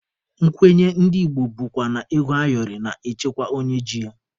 Nkwenye ndị Igbo bụkwa na ego ayọrị na-echekwa onye ji ya.